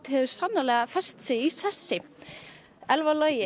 hefur sannarlega fest sig í sessi Elfar Logi